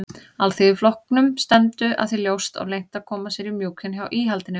Alþýðuflokknum stefndu að því ljóst og leynt að koma sér í mjúkinn hjá íhaldinu.